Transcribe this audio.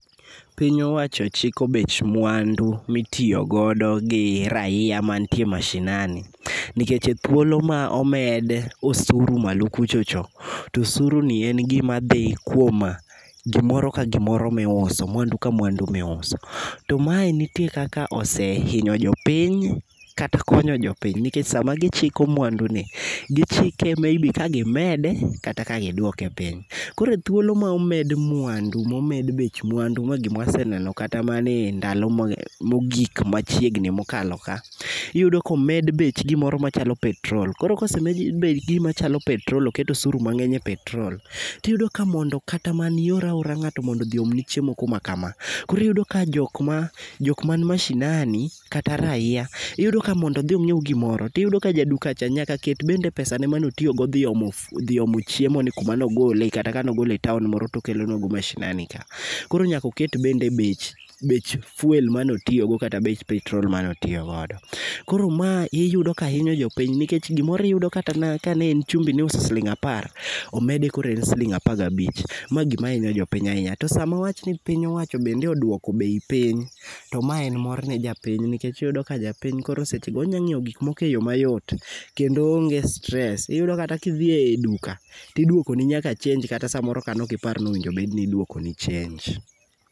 Piny owacho chiko bech mwandu mitiyo godo gi raia mantie mashinani nikech thuolo ma ome osuru malo kucho cho tosuru ni en gima dhi kuom gimoro ka gimoro miuso mwandu ka mwandu miuso .To ma ntie kakose inyo jopiny kata konyo jopiny niech sama gichiko mwandu ni gichike maybe ka gimede kata ka giduoke piny . Koroe thuolo ma omed mwandu momed bech mwandu ma gimwa seneno kata mane ndalo mogik machiegni mokalo ka. Iyudo komed bech gik moko machal petrol oket osuru mang'eny e petrol tiyudo ka mondo kata mani iora ora ng'ato mondo odhi oomni chiemo kuma kama. Koro yudo ka iyudo ka jok man mashinani kata raia iyudo ka mondo odhi onyiew gimoro iyudo ka jaduka cha be nyaka ket bech gik manotiyo go dho omo fu dhi omo chiemo ni kuma nogole kata kano gokle e taon moro tokelo nwa go mashinani ka .Koro nyako ket bende bech bech fuel manotiyo go kata bech petrol mano tiyo godo. Koro mae iyudo ka inyo jopiny nikech iyudo ka kata ne en chumbi miuso siling apar omedi kore en siling apar gabich ma gima inyo jopiny ahinya to samo piny owacho mondo oduoko bei piny to mae mor ne japiny nikech iyudo ka japiny koro seche go onya ng'iewo gik moko eyo mayot kendo oonge stress .Iyudo kidhi e duka tiduoko ni nyaka chenj kata samoro kanoki par ni owinjo bed ni iduoko ni chenj